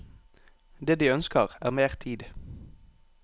Det de ønsker er mer tid.